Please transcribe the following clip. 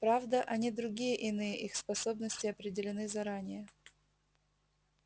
правда они другие иные их способности определены заранее